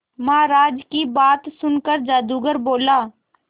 महाराज की बात सुनकर जादूगर बोला